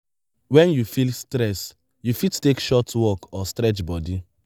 when you feel stress you fit take short walk or stretch body